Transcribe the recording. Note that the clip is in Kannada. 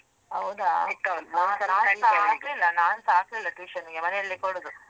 ಹೌದ ನಾನ್ಸ ಹಾಕ್ಲಿಲ್ಲ ನಾನ್ಸ ಹಾಕ್ಲಿಲ್ಲ tuition ಗೆ ಮನೇಲಿ ಕೊಡುದು.